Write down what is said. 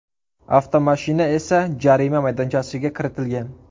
Avtomashina esa jarima maydonchasiga kiritilgan.